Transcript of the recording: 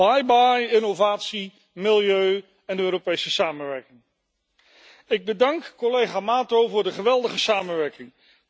Bye bye innovatie, milieu en Europese samenwerking. Ik bedank collega Mato voor de geweldige samenwerking.